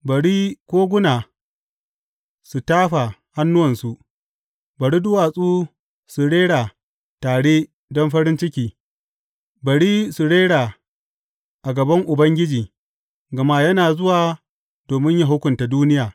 Bari koguna su tafa hannuwansu, bari duwatsu su rera tare don farin ciki; bari su rera a gaban Ubangiji, gama yana zuwa domin yă hukunta duniya.